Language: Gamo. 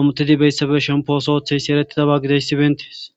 amutidi beyssabe shempooso ooththeyssi ereti daba gideyssibentees.